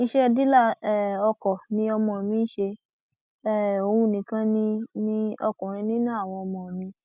iṣẹ dílà um ọkọ ni ọmọ mi ń ṣe um òun nìkan ni ni ọkùnrin nínú àwọn ọmọ mi